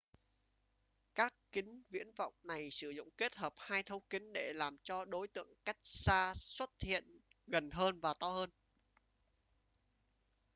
các kính viễn vọng này sử dụng kết hợp hai thấu kính để làm cho đối tượng cách xa xuất hiện gần hơn và to hơn